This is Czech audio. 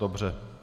Dobře.